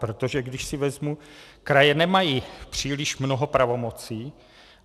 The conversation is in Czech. Protože když si vezmu, kraje nemají příliš mnoho pravomocí.